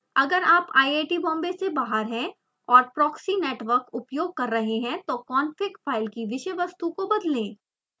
अगर आप iit बॉम्बे से बाहर हैं और proxy network उपयोग कर रहे हैं तो config file की विषय वस्तु को बदलें